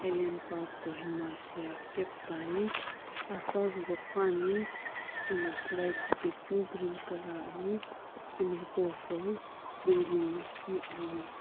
aland park kohima shiaghi kepu toiani asahusubo qo ani ena slide shichekeu green colour ani ena hipau shou building lakhi ani.